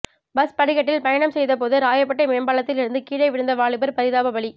bus படிக்கட்டில் பயணம் செய்தபோது ராயப்பேட்டை மேம்பாலத்தில் இருந்து கீழே விழுந்த வாலிபர் பரிதாப பலி